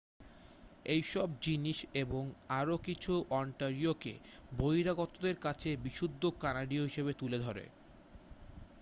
এইসব জিনিস এবং আরও কিছু ওন্টারিওকে বহিরাগতদের কাছে বিশুদ্ধ কানাডীয় হিসাবে তুলে ধরে